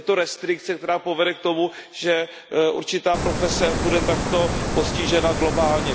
Je to restrikce, která povede k tomu, že určitá profese bude takto postižena globálně.